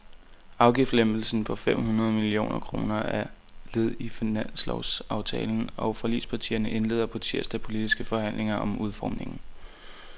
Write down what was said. Afgiftslempelsen på fem hundrede millioner kroner er led i finanslovsaftalen, og forligspartierne indleder på tirsdag politiske forhandlinger om udformningen.